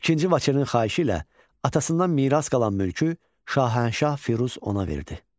İkinci Vaçenin xahişi ilə atasından miras qalan mülkü Şahənşah Firuz ona verdi.